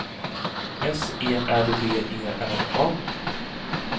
S E R V E R A